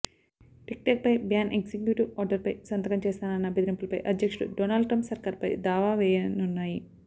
టిక్టాక్పై ban executive ఆర్డర్పై సంతకం చేస్తానన్న బెదిరింపులపై అధ్యక్షుడు డొనాల్డ్ ట్రంప్ సర్కార్పై దావా వేయనున్నాయి